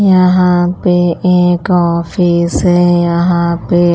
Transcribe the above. यहाँ पे एक ऑफिस है यहाँ पे --